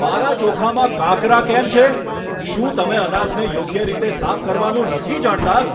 મારા ચોખામાં કાંકરા કેમ છે? શું તમે અનાજને યોગ્ય રીતે સાફ કરવાનું નથી જાણતા?